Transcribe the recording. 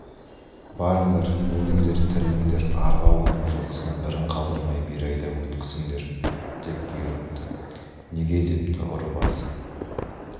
барыңдар өліндер-тіріліңдер арғы ауылдың жылқысын бірін қалдырмай бері айдап өткізіңдер деп бұйырыпты неге депті ұры басы